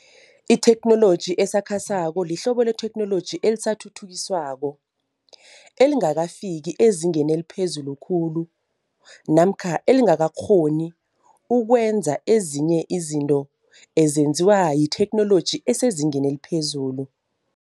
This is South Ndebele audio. Itheknoloji esakhasako lihlobo letheknoloji elisathuthukiswako, elingakafiki ezingeni eliphezulu khulu namkha elingakakghoni ukwenza ezinye izinto ezenziwa yitheknoloji esezingeni eliphezulu.